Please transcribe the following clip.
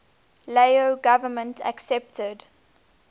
lao government accepted